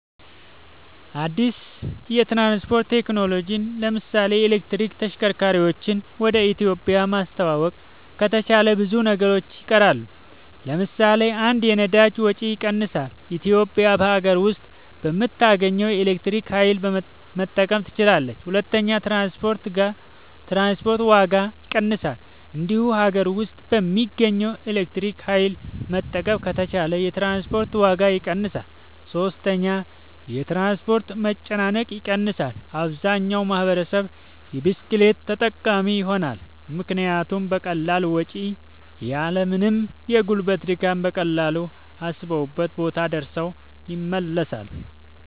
አድስ የትራንስፖርት ቴክኖሎጅን ለምሳሌ የኤሌክትሪክ ተሽከርካርወችን ወደ ኢትዮጵያ ማስተዋወቅ ከተቻለ ብዙ ነገሮች ይቀየራሉ ለምሳሌ 1 የነዳጅ ወጭ ይቀንሳል ኢትዮጵያ በሀገር ውስጥ በምታገኘው የኤሌክትሪክ ኃይል መጠቀም ትችላለች 2 የትራንስፖርት ዋጋ ይቀንሳል እዚሁ ሀገር ውስጥ በምናገኘው ኤሌክትሪክ ኃይል መጠቀም ከቻልን የትራንስፖርት ዋጋ ይቀንሳል 3 የትራንስፖርት መጨናነቅ ይቀንሳል አብዛኛው ማህበረሰብ የብስክሌት ተጠቃሚ ይሆናልምክንያቱም በቀላል ወጭ እና ያልምንም የጉልበት ድካም በቀላሉ አሰቡበት ቦታ ደርሰው ይመለሳሉ